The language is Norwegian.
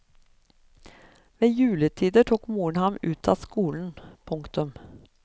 Ved juletider tok moren ham ut av skolen. punktum